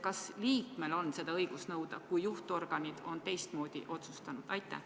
Kas liikmel on seda õigus nõuda, kui juhtorgan on teistmoodi otsustanud?